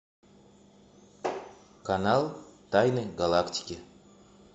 канал тайны галактики